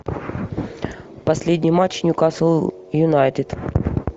последний матч ньюкасл юнайтед